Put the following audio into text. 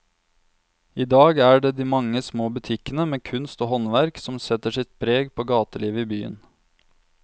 I dag er det de mange små butikkene med kunst og håndverk som setter sitt preg på gatelivet i byen.